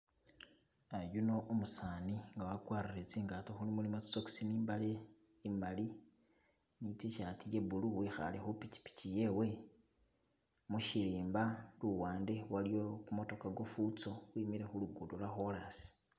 An yuno umusani nga wakwarire tsi ngato mulimo tsi socks ni mbale imali ni tshirt ye blue wikhale khu pikipiki yewe mushirimba luwande waliyo ku motokha kwo fuso kwemile khulugudo lwo korasi.